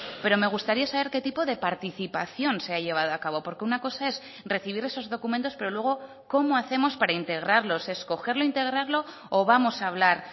pero me gustaría saber qué tipo de participación se ha llevado a cabo porque una cosa es recibir esos documentos pero luego cómo hacemos para integrarlos escogerlo integrarlo o vamos a hablar